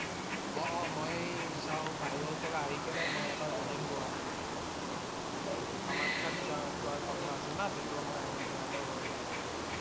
অ' অ' মই~ই চাও বাহিৰৰ পৰা আহি কেনে মই এবাৰ আহিম গুৱাহাটীত। কামাখ্যা যা~যোৱা কথা আছে না তেতিয়া মই আহিম তোমাৰ সতৰ ঘৰত ও আহিম।